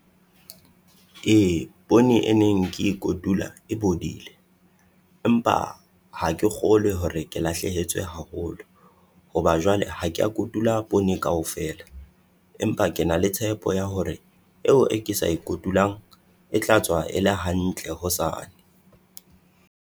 Ee poone e neng ke e kotula e bodile. Empa ha ke kgolwe hore ke lahlehetswe haholo, hoba jwale ha kea kotula poone kaofela. Empa ke na le tshepo ya hore eo e ke sa e kotulang e tla tswa e le hantle hosane.